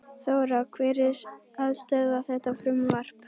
Þóra: Hver er að stöðva þetta frumvarp?